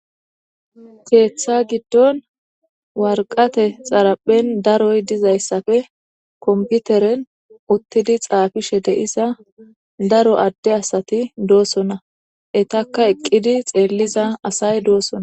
Keeththa giddon warqate xaraphen daroy dizayssappe komputeren uttidi xaafishe de7iza daro adde asati doosona. Etakka eqqidi xeelliza asay doosona.